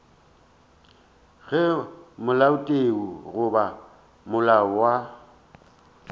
ge molaotheo goba molao wa